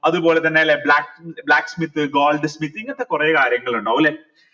അതുപോലെതന്നെ black smith gold smith ഇങ്ങനത്തെ കൊറേ കാര്യങ്ങൾ ഇണ്ടാവു അല്ലെ